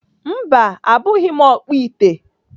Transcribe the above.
Mba, abụghị m ọkpụ ite.